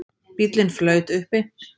Bíllinn flaut uppi